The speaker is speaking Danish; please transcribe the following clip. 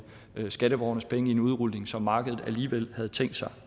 skatteborgernes penge i en udrulning som markedet alligevel havde tænkt sig